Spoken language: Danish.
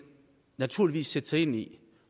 naturligvis sætte sig ind i